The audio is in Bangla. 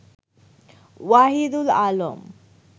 ওয়াহিদুল আলম